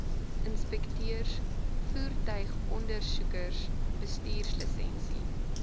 inspekteurs voertuigondersoekers bestuurslisensie